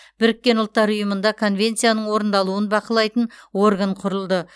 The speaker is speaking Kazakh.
біріккен ұлттар ұйымында конвенцияның орындалуын бақылайтын орган құрылды